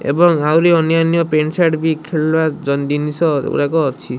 ଏବଂ ଆହୁରି ଅନ୍ୟାନ୍ୟ ପେଣ୍ଟ ସାର୍ଟ ବି ଖେଳଣା ଜ ଜିନିଷ ଗୁରାକ ଅଛି।